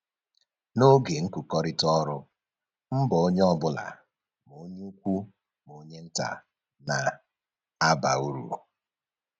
N'oge nkụkọrịta ọrụ, mbọ onye ọbụla ma onye ukwu ma onye nta na-aba uru